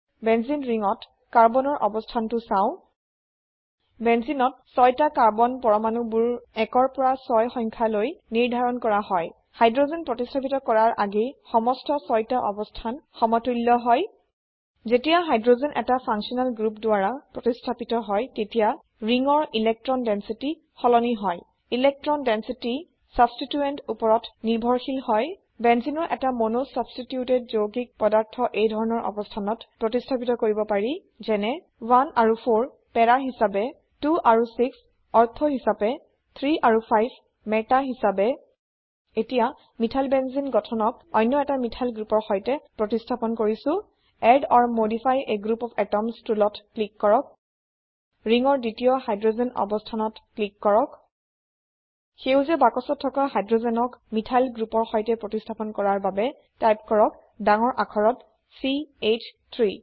বেঞ্জেনে ringত কাৰ্বন ৰঅবস্থানটো চাও Benzeneত চইটা কাৰ্বন পৰমাণুবোৰ 1ৰ পৰা 6 সংখ্যা লৈ নিৰ্ধাৰণ কৰা হয় হাইড্ৰোজেন প্ৰতিস্থাপিত কৰাৰ আগেই সমস্ত ছইটা অবস্থান সমতুল্য হয় যেতিয়া হাইড্ৰোজেন এটা ফাংচনেল গ্ৰুপ দ্বাৰা প্ৰতিস্থাপিত হয় তেতিয়া ৰিংৰ ইলেকট্ৰন densityসলনি হয় ইলেকট্ৰন ডেঞ্চিটিছাবষ্টিটোয়েন্ট উপৰত নিৰ্ভৰশীল হয় Benzeneৰ এটা mono ছাবষ্টিটিউটেড যৌগিক পদাৰ্থ এইধৰনৰ অবস্থানত প্ৰতিস্হাপিত কৰিব পাৰি যেনে 1 আৰু 4 পাৰা হিসাবে 2 আৰু6 অৰ্থ হিসাবে 3 আৰু 5 Metaহিসাবে এতিয়া মিথাইলবেনজেনে গঠনক অনয় এটা মিথাইল গ্ৰোপৰ সৈতে প্ৰতিস্হাপন কৰিছো add or modify a group of atoms টুলত ক্লিক কৰক ৰিংৰ দ্বিতীয় হাইড্ৰোজেন অবস্থানত ক্লিক কৰক সেইজীয়া বাক্সত থকা হাইড্ৰোজেন ক মিথাইল গ্ৰোপৰ সৈতেপ্ৰতিস্থাপন কৰাৰ বাবে টাইপ কৰক ডাঙৰ আখৰত C H 3